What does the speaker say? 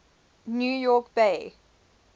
new york bay